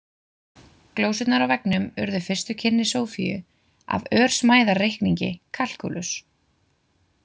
Glósurnar á veggnum urðu fyrstu kynni Sofiu af örsmæðarreikningi, kalkúlus.